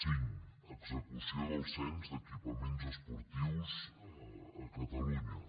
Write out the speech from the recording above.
cinc execució del cens d’equipaments esportius a catalunya